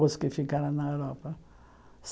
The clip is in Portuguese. Os que ficaram na Europa.